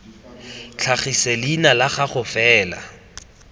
tlhagise leina la gago fela